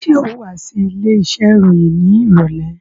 Ṣé ò wá sí ilé iṣẹ́ ìròyìn ní ìrọ̀lẹ́?